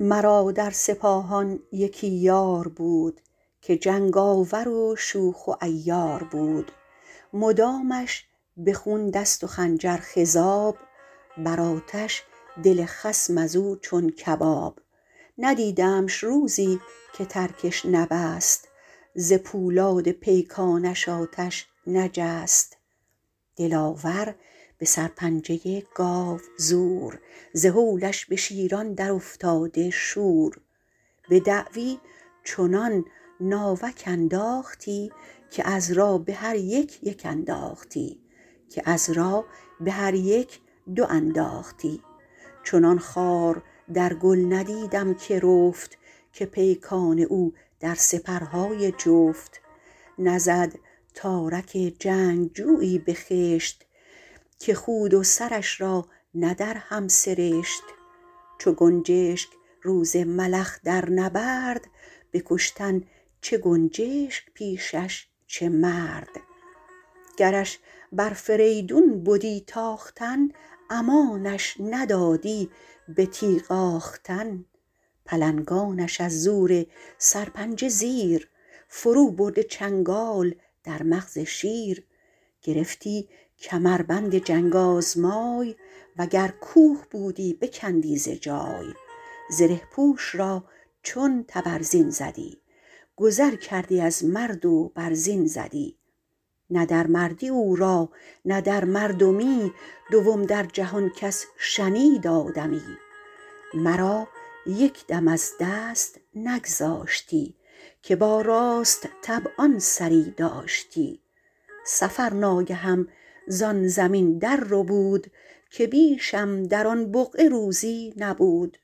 مرا در سپاهان یکی یار بود که جنگاور و شوخ و عیار بود مدامش به خون دست و خنجر خضاب بر آتش دل خصم از او چون کباب ندیدمش روزی که ترکش نبست ز پولاد پیکانش آتش نجست دلاور به سرپنجه گاوزور ز هولش به شیران در افتاده شور به دعوی چنان ناوک انداختی که عذرا به هر یک یک انداختی چنان خار در گل ندیدم که رفت که پیکان او در سپرهای جفت نزد تارک جنگجویی به خشت که خود و سرش را نه در هم سرشت چو گنجشک روز ملخ در نبرد به کشتن چه گنجشک پیشش چه مرد گرش بر فریدون بدی تاختن امانش ندادی به تیغ آختن پلنگانش از زور سرپنجه زیر فرو برده چنگال در مغز شیر گرفتی کمربند جنگ آزمای وگر کوه بودی بکندی ز جای زره پوش را چون تبرزین زدی گذر کردی از مرد و بر زین زدی نه در مردی او را نه در مردمی دوم در جهان کس شنید آدمی مرا یک دم از دست نگذاشتی که با راست طبعان سری داشتی سفر ناگهم زان زمین در ربود که بیشم در آن بقعه روزی نبود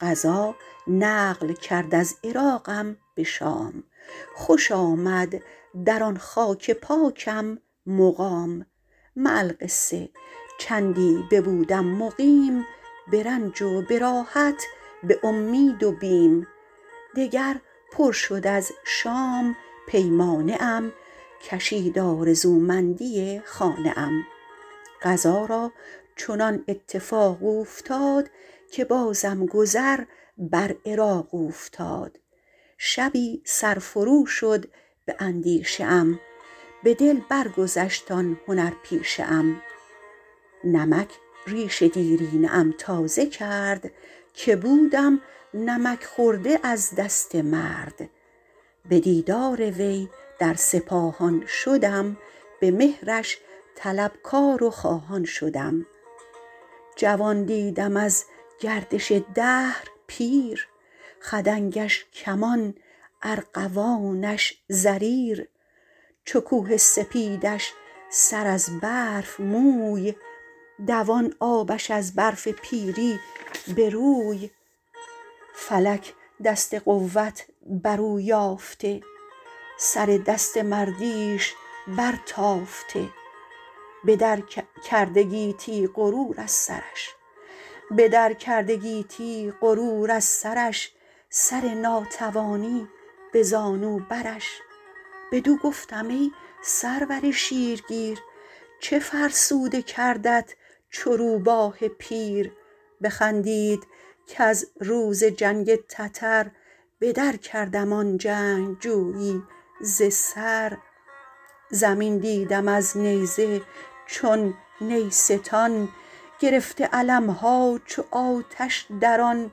قضا نقل کرد از عراقم به شام خوش آمد در آن خاک پاکم مقام مع القصه چندی ببودم مقیم به رنج و به راحت به امید و بیم دگر پر شد از شام پیمانه ام کشید آرزومندی خانه ام قضا را چنان اتفاق اوفتاد که بازم گذر بر عراق اوفتاد شبی سر فرو شد به اندیشه ام به دل برگذشت آن هنر پیشه ام نمک ریش دیرینه ام تازه کرد که بودم نمک خورده از دست مرد به دیدار وی در سپاهان شدم به مهرش طلبکار و خواهان شدم جوان دیدم از گردش دهر پیر خدنگش کمان ارغوانش زریر چو کوه سپیدش سر از برف موی دوان آبش از برف پیری به روی فلک دست قوت بر او یافته سر دست مردیش بر تافته به در کرده گیتی غرور از سرش سر ناتوانی به زانو برش بدو گفتم ای سرور شیر گیر چه فرسوده کردت چو روباه پیر بخندید کز روز جنگ تتر بدر کردم آن جنگجویی ز سر زمین دیدم از نیزه چو نیستان گرفته علم ها چو آتش در آن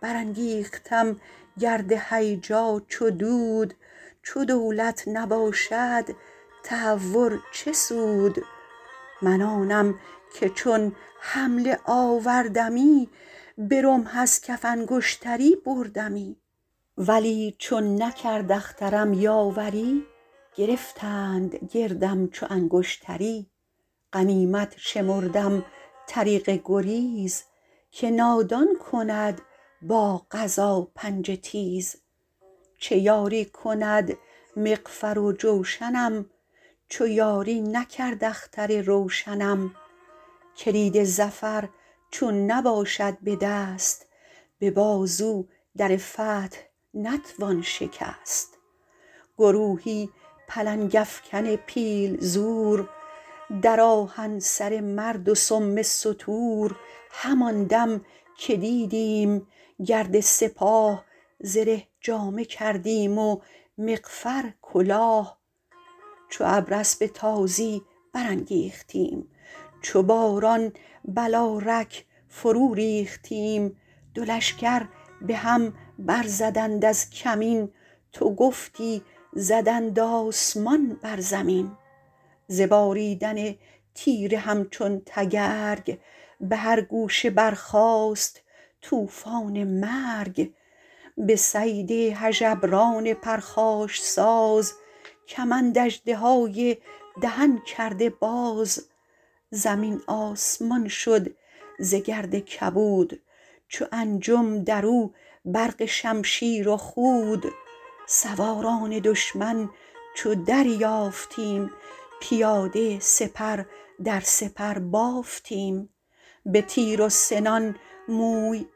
بر انگیختم گرد هیجا چو دود چو دولت نباشد تهور چه سود من آنم که چون حمله آوردمی به رمح از کف انگشتری بردمی ولی چون نکرد اخترم یاوری گرفتند گردم چو انگشتری غنیمت شمردم طریق گریز که نادان کند با قضا پنجه تیز چه یاری کند مغفر و جوشنم چو یاری نکرد اختر روشنم کلید ظفر چون نباشد به دست به بازو در فتح نتوان شکست گروهی پلنگ افکن پیل زور در آهن سر مرد و سم ستور همان دم که دیدیم گرد سپاه زره جامه کردیم و مغفر کلاه چو ابر اسب تازی برانگیختیم چو باران بلارک فرو ریختیم دو لشکر به هم بر زدند از کمین تو گفتی زدند آسمان بر زمین ز باریدن تیر همچو تگرگ به هر گوشه برخاست طوفان مرگ به صید هژبران پرخاش ساز کمند اژدهای دهن کرده باز زمین آسمان شد ز گرد کبود چو انجم در او برق شمشیر و خود سواران دشمن چو دریافتیم پیاده سپر در سپر بافتیم به تیر و سنان موی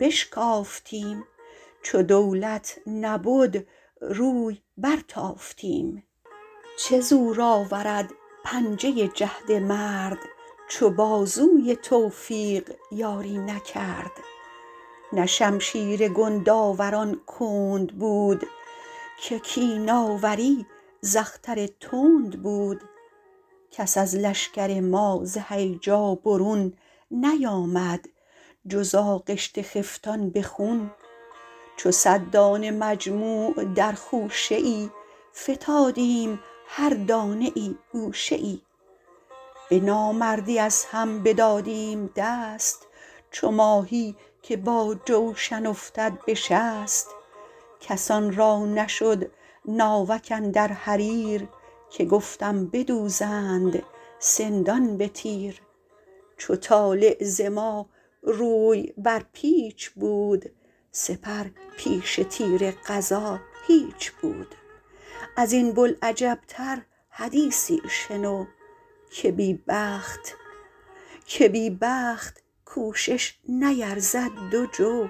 بشکافتیم چو دولت نبد روی بر تافتیم چه زور آورد پنجه جهد مرد چو بازوی توفیق یاری نکرد نه شمشیر گندآوران کند بود که کین آوری ز اختر تند بود کس از لشکر ما ز هیجا برون نیامد جز آغشته خفتان به خون چو صد دانه مجموع در خوشه ای فتادیم هر دانه ای گوشه ای به نامردی از هم بدادیم دست چو ماهی که با جوشن افتد به شست کسان را نشد ناوک اندر حریر که گفتم بدوزند سندان به تیر چو طالع ز ما روی بر پیچ بود سپر پیش تیر قضا هیچ بود از این بوالعجب تر حدیثی شنو که بی بخت کوشش نیرزد دو جو